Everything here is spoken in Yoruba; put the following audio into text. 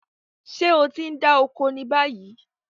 Ṣé o ti ń dá oko ni báyìí?